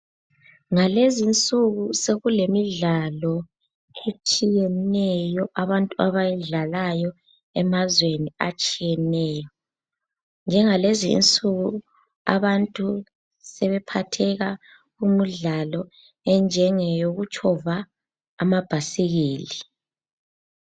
Ngalezi insuku sokulemidlalo etshiyeneyo abantu abayidlalayo emazweni atshiyeneyo. Njengalezi insuku abantu sebephatheka kumidlalo enjengeyokutshova amabhayisikili.